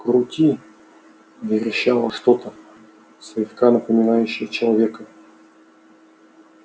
крути верещало что-то слегка напоминавшее человека